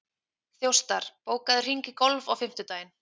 Þjóstar, bókaðu hring í golf á fimmtudaginn.